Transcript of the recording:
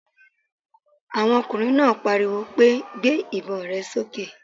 Àwọn ọkùnrin náà pariwo pé! Gbé ìbon rẹ sókè